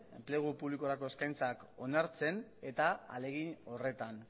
enplegu publikorako eskaintzak onartzen eta ahalegin horretan